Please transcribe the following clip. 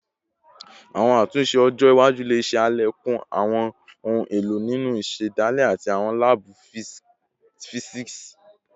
Awọn atunṣe ọjọ iwaju le ṣe alekun awọn ohun elo ninu isedale ati awọn laabu fisiksi